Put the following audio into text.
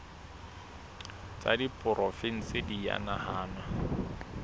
tsa diporofensi di a nahanwa